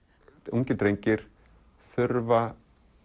ungir drengir þurfa